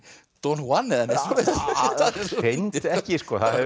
don Juan hreint ekki